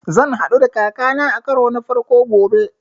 Zan haɗu da kaka na a karo na farko gobe